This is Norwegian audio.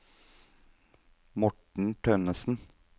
Morten Tønnesen